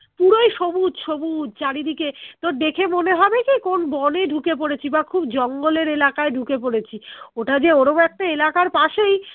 পুরোই সবুজ সবুজ চারিদিকে তোর দেখে মনে হবে কি কোন বনে ঢুকে পড়েছি বা খুব জঙ্গল এর এলাকায় ঢুকে পড়েছি ওটা যে ওর ও একটা এলাকার পাশেই